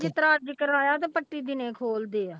ਜਿਸ ਤਰ੍ਹਾਂ ਅੱਜ ਹੀ ਕਰਵਾਇਆ ਤੇ ਪੱਟੀ ਦਿਨੇ ਖੋਲਦੇ ਆ।